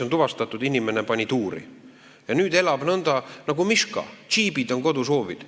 On tuvastatud, et inimene pani selle raha tuuri ja nüüd elab nagu miška, džiibid on kodus hoovil.